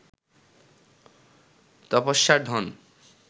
তপস্যার ধন